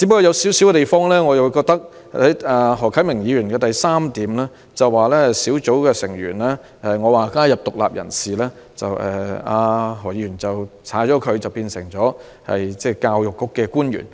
然而，我在原議案的第三項建議"小組成員應加入獨立人士"，但何議員的修正案卻刪除了"獨立人士"並改為"教育局官員"。